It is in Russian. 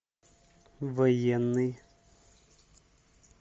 военный